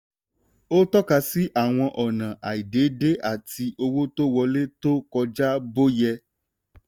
ó tọ́ka sí àwọn ọ̀nà àìdédé àti owó tó wọlé tó kọjá bó yẹ.